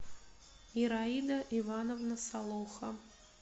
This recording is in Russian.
ираида ивановна солоха